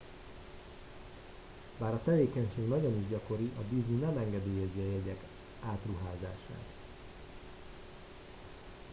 bár a tevékenység nagyon is gyakori a disney nem engedélyezi a jegyek átruházását